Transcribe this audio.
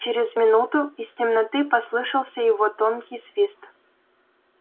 через минуту из темноты послышался его тонкий свист